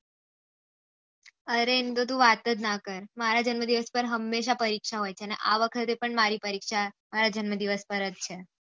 અરે એનું તો વાત જ ના કર મારા જન્મ દિવસ માં હમેશા પરીક્ષા હોય છે અને આ વખતે પણ મારી પરીક્ષા મારા જન્મ દિવસ પર જ છે